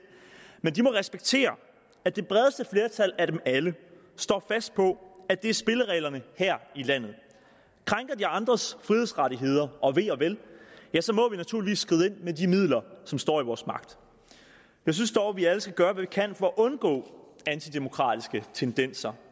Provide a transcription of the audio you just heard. men de må respektere at det bredeste flertal af dem alle står fast på at det er spillereglerne her i landet krænker de andres frihedsrettigheder og ve og vel må vi naturligvis skride ind med de midler som står i vores magt jeg synes dog vi alle skal gøre hvad vi kan for at undgå antidemokratiske tendenser